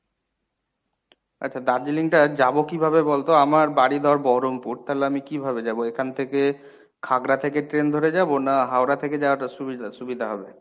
আচ্ছা দার্জিলিংটা যাব কিভাবে বলতো আমার বাড়ি ধর বহরমপুর তাহলে আমি কিভাবে যাব এখান থেকে খাগড়া থেকে train ধরে যাবো না হাওড়া থেকে যাওয়াটা সুবিদা~ সুবিধা হবে?